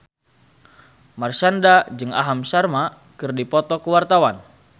Marshanda jeung Aham Sharma keur dipoto ku wartawan